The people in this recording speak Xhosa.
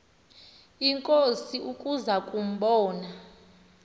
inkosi ukuza kumbona